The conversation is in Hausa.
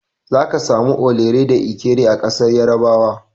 Zaka samu Orele da Ekere a ƙasar Yarabawa.